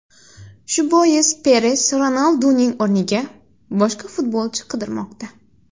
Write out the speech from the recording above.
Shu bois Peres Ronalduning o‘rniga boshqa futbolchi qidirmoqda.